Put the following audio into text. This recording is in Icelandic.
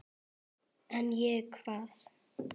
En ég, hvað?